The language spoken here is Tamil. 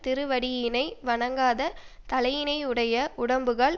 திருவடியினை வணங்காத தலையினையுடைய உடம்புகள்